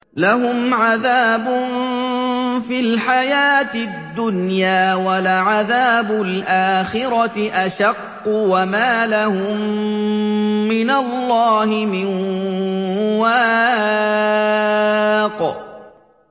لَّهُمْ عَذَابٌ فِي الْحَيَاةِ الدُّنْيَا ۖ وَلَعَذَابُ الْآخِرَةِ أَشَقُّ ۖ وَمَا لَهُم مِّنَ اللَّهِ مِن وَاقٍ